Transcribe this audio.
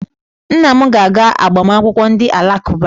Nna m ga-aga agbamakwụkwọ ndị Alakụba.